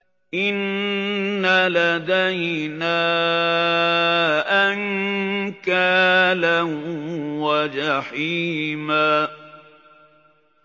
إِنَّ لَدَيْنَا أَنكَالًا وَجَحِيمًا